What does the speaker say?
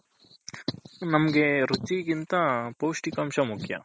ನಮ್ಮಗೆ ರುಚ್ಚಿಗಿಂತ ಪೌಷ್ಟಿಕಂಶ ಮುಖ್ಯ